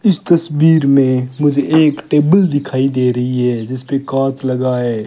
इस तस्वीर में मुझे एक टेबल दिखाई दे रही है जिस पे कॉथ लगा है।